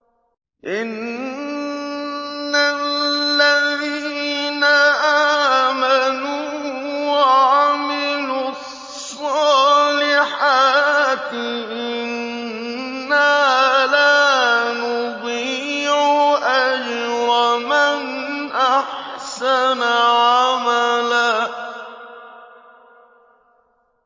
إِنَّ الَّذِينَ آمَنُوا وَعَمِلُوا الصَّالِحَاتِ إِنَّا لَا نُضِيعُ أَجْرَ مَنْ أَحْسَنَ عَمَلًا